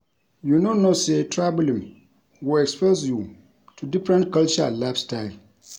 You no know say traveling go expose you to different culture and lifestyle